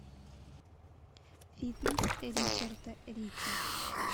фитнес ричарда рича